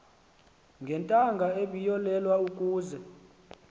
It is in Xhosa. ngentanga ebiyolelwe ukuze